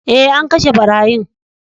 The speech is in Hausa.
Eh, an kashe barayin.